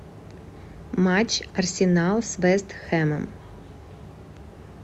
матч арсенал с вест хэмом